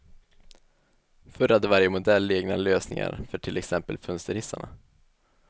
Förr hade varje modell egna lösningar för till exempel fönsterhissarna.